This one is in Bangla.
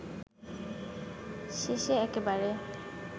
শেষে একেবারে